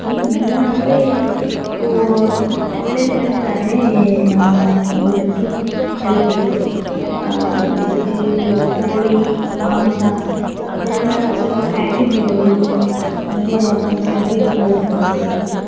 ಮೀನಾದ್ರೆ ಒ~ ಒಳ್ಳೆದು ಹೇಳ್ತಾರೆ ನಮ್ಮ ಇದಕ್ಕೆ health ಇಗೆ ಅಹ್ ಹೆಚ್ಚಿಗಿದು ಕೋಳಿ, ಮಾಂಸ ಅದೇ ಎಲ್ಲಾ ಸ್ವಲ್ಪ fat ಇದು ಅಂದ್ರೆ ಅದರಲ್ಲಿ ಚರ್ಬಿ ಇರ್ತದೆ ಅಂತ ಹೇಳ್ತಾರಲ್ಲ.